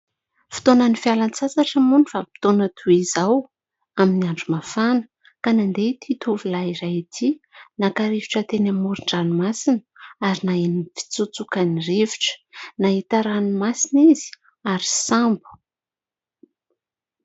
Fotoana ny fialan-tsasatra moa ny vanim-potoana toy izao amin'ny andro mafana ka nandeha ity tovolahy iray ity naka rivotra teny amoron-dranomasina ary naheno ny fitsotsoka ny rivotra, nahita ranomasina izy ary sambo.